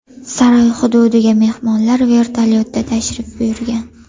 Saroy hududiga mehmonlar vertolyotda tashrif buyurgan.